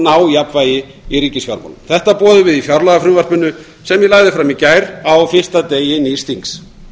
ná jafnvægi í ríkisfjármálum þetta boðum við í fjárlagafrumvarpinu sem ég lagði fram í gær á fyrsta dæmi nýs þings